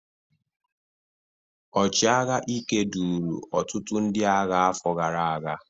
ọchịagha Ike, duru ọtụtụ ndị agha afọ gara aga.